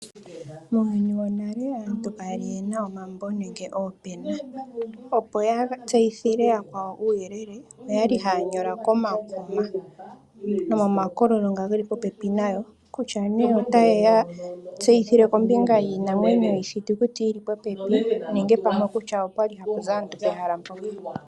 Muuyuni wonale aantu kaya li yena omambo nenge oopena. Opo ya tseyithile yakwawo uuyele oyali haya nyola komakuma nomomakololo ngoka geli popepi nayo, kutya nee ota yeya tseyithile kombinga yiinamwenyo yiithitukuti tili popepi, nenge pamwe okutya okwali hapu zi aantu pehala mpoka.